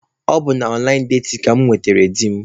Ee, ọ bụ na ọnlaịn datin ka mụ nwetara di m.